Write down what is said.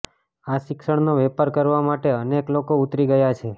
આ શિક્ષણનો વેપાર કરવા માટે અનેક લોકો ઉતરી ગયા છે